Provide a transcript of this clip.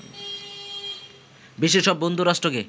বিশ্বের সব বন্ধুরাষ্ট্রকে